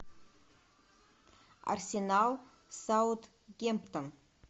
арсенал саутгемптон